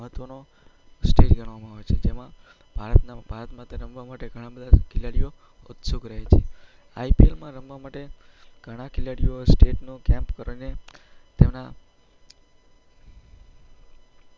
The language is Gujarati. મહત્ત્વનો સ્ટેજ ગણવામાં આવે છે. તેમાં ભારત~ભારત માટે રમવા માટે ઘણા બધા ખેલાડીઓ ઉત્સુક રહે છે. IPL માં રમવા માટે ઘણા ખેલાડીઓ એ સ્ટેટનો તેમનો